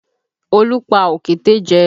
Olú pa òkété jẹ